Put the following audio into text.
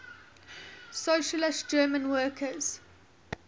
socialist german workers